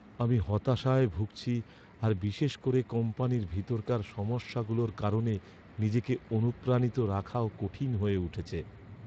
আমি হতাশায় ভুগছি আর বিশেষ করে কোম্পানির ভেতরকার সমস্যাগুলোর কারণে নিজেকে অনুপ্রাণিত রাখাও কঠিন হয়ে উঠছে।